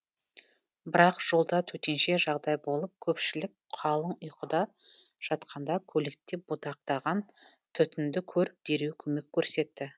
бірақ жолда төтенше жағдай болып көпшілік қалың ұйқыда жатқанда көлікте будақтаған түтінді көріп дереу көмек көрсетті